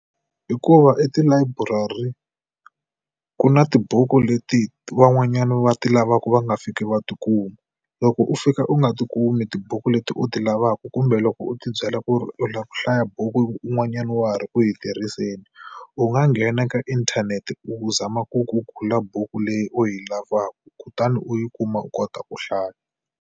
Hikuva etilayiburari ku na tibuku leti van'wanyani va ti lavaka va nga fiki va tikuma. Loko u fika u nga ti kumi tibuku leti u ti lavaka kumbe loko u ti byela ku ri u lava ku hlaya buku un'wanyana wa ha ri ku yi tirhiseni u nga nghena ka inthanete u zama ku google buku leyi u yi lavaka kutani u yi kuma u kota ku hlaya.